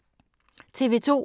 TV 2